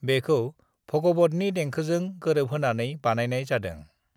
बेखौ भगवतनि देंखोजों गोरोबहोनानै बानायनाय जादों।